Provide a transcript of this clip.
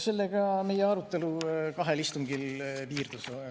Sellega meie arutelu kahel istungil piirdus.